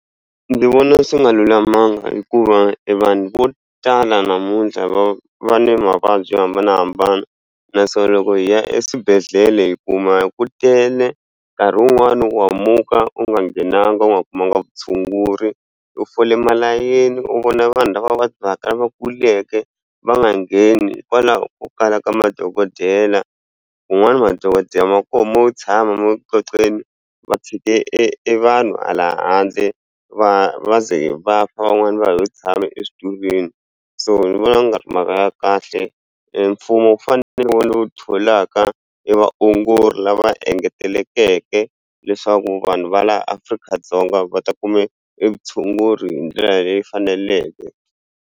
Ndzi vona swi nga lulamanga hikuva e vanhu vo tala namuntlha va va ni mavabyi yo hambanahambana na so loko hi ya eswibedhlele hi kuma hi ku tele nkarhi wun'wani wa hambuka u nga nghenanga u nga kumanga vutshunguri u fole malayeni u vona vanhu lava va vabyaka lava kuleke va nga ngheni hikwalaho ko kala ka madokodela kun'wani madokodela ma koho mo tshama ma le ku qoqeni va tshike e vanhu hala handle va va ze va fa van'wani va hi u tshame exitulweni so ni vona ku nga ri mhaka ya kahle mfumo wu fanele ni ntlhotlho lowu tholaka i vaongori lava engetelekeke leswaku vanhu va laha afrika dzonga va ta kuma e vutshunguri hi ndlela leyi faneleke.